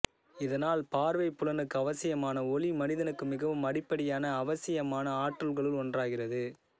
இதனால் பார்வைப் புலனுக்கு அவசியமான ஒளி மனிதனுக்கு மிகவும் அடிப்படையான அவசியமான ஆற்றல்களுள் ஒன்றாகிறது